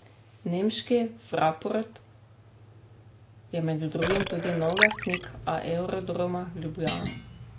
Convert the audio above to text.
Nemški Fraport je med drugim tudi novi lastnik Aerodroma Ljubljana.